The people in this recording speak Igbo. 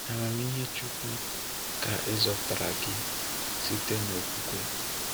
N’ámámịhé Chúkwú ka e zọpụtara gị site n’okwukwe.